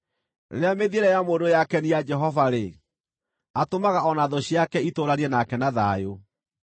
Rĩrĩa mĩthiĩre ya mũndũ yakenia Jehova-rĩ, atũmaga o na thũ ciake itũũranie nake na thayũ.